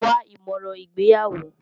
Wá ìmọ̀ràn ìgbéyàwó.